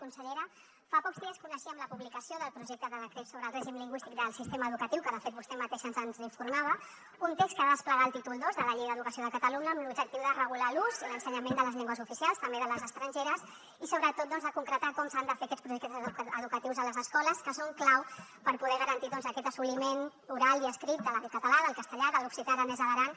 consellera fa pocs dies coneixíem la publicació del projecte de decret sobre el règim lingüístic del sistema educatiu que de fet vostè mateix ens en informava un text que ha de desplegar el títol ii de la llei d’educació de catalunya amb l’objectiu de regular l’ús i l’ensenyament de les llengües oficials també de les estrangeres i sobretot de concretar com s’han de fer aquests projectes educatius a les escoles que són clau per poder garantir aquest assoliment oral i escrit del català del castellà de l’occità aranès a l’aran